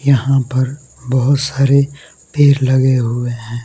यहां पर बहोत सारे पेड़ लगे हुए हैं।